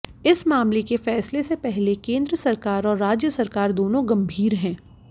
इस मामले के फैसले से पहले केन्द्र सरकार और राज्य सरकार दोनों गंभीर है